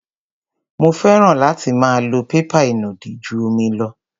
Mo fẹ́ràn láti máa lo pépà ìnùdí ju omi lọ.